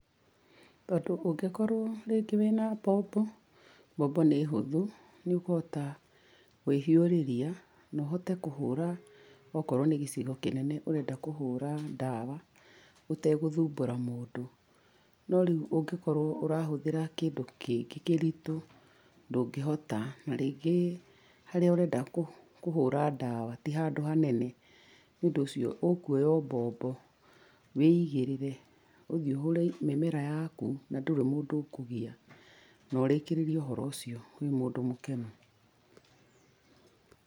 Tondũ ũngĩkorwo rĩngĩ wĩna mbombo, mbombo nĩ hũthũ, nĩũkũhota kwĩhiũrĩrĩa, na ũhotee kũhũra, okorwo nĩ gĩcigo kĩnene ũrenda kũhũra ndawa, ũtegũthumbura mũndũ. No rĩu ũngikorwo ũrahũthĩra kĩndũ kĩngĩ kĩritũ, ndũngĩota na rĩngĩ, harĩa urenda kũ kũhũra ndawa ti handũ hanene. Nĩũndũ ũcio ũkuoya o mbombo wĩigĩrĩre, ũthiĩ ũhũre mĩmera yaku, na ndũrĩ mũndũ ũkũgia, na ũrĩkĩrĩrie ũhoro ũcio wĩ mũndũ mũkenu.